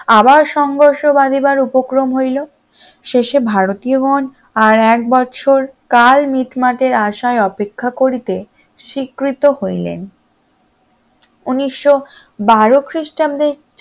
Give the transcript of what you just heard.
আবার সংঘর্ষ বাধিকার উপক্রম হইল শেষে ভারতীয়গণ আর এক বছরকাল মিটমাটের আশায় অপেক্ষা করিতে স্বীকৃত হইলেন উনিশশ বারো খ্রিস্টাব্দে